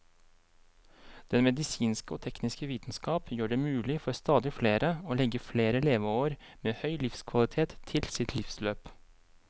Den medisinske og tekniske vitenskap gjør det mulig for stadig flere å legge flere leveår med høy livskvalitet til sitt livsløp.